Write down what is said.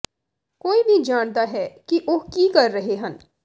ਕੋਈ ਵੀ ਜਾਣਦਾ ਹੈ ਕਿ ਉਹ ਕੀ ਕਰ ਰਹੇ ਹਨ